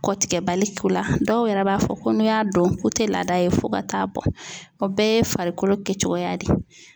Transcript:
Kɔtigɛbali k'u la dɔw yɛrɛ b'a fɔ ko n'u y'a don k'o tɛ laada ye fo ka taa bɔ o bɛɛ ye farikolo kɛcogoya de ye.